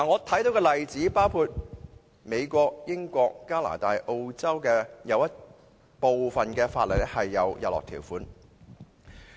舉例說，美國、英國、加拿大和澳洲的部分法例是有日落條款的。